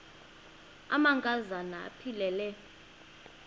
amanka zana aphilele